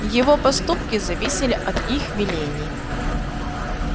его поступки зависели от их велений